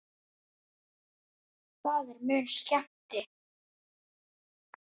Það er mun skemmti